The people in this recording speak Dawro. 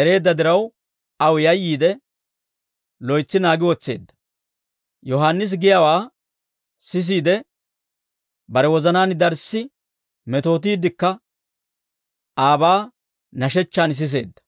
ereedda diraw, aw yayyiide, loytsi naagi wotseedda; Yohaannisi giyaawaa sisiide, bare wozanaan darssi metootiiddekka aabaa nashechchaan siseedda.